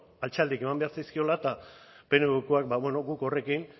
altxaldiak eman behar zaizkiola eta pnvkoak guk horrekin